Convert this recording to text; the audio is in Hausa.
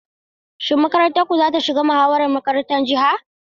Shin makarantar ku za ta shiga muhawarar makarantar jiha?